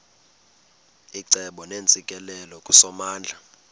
icebo neentsikelelo kusomandla